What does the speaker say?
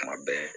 Kuma bɛɛ